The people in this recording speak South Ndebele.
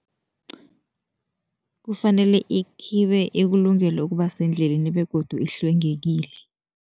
Kufanele ikhibe ikulungele ukuba sendleleni begodu ihlwengekile.